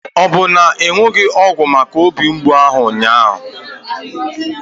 Ọ bụ na ịnụghị ọgwụ maka obi mgbụ ụnyaahụ?